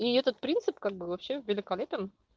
и этот принцип как бы вообще великолепен